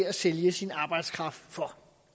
at sælge sin arbejdskraft for